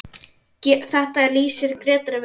Þetta lýsir Grétari vel.